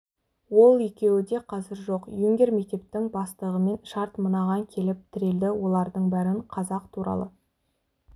ол екеуі де қазір жоқ юнкер мектептің бастығымен шарт мынаған келіп тірелді олардың бәрін қазақ туралы